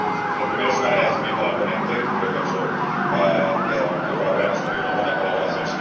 Lo primero es un agradecimiento a la ponente, que creo que ha hecho que hayamos tenido una buena colaboración.